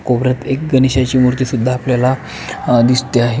कोपऱ्यात एक गणेशाची मूर्ती सुद्धा आपल्याला दिसते आहे.